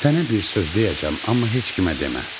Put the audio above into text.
Sənə bir söz deyəcəm, amma heç kimə demə.